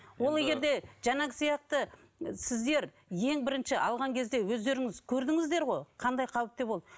ол егер де жаңағы сияқты сіздер ең бірінші алған кезде өздеріңіз көрдіңіздер ғой қандай қауіпті болды